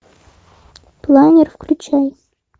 планер включай